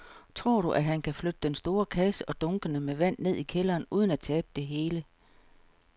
Tror du, at han kan flytte den store kasse og dunkene med vand ned i kælderen uden at tabe det hele?